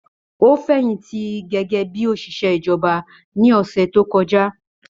Ó fẹ̀yìntì gẹ́gẹ́ bí òṣìṣẹ́ ìjọba ní ọ̀sẹ̀ tó kọjá